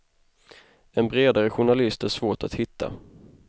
En bredare journalist är svårt att hitta.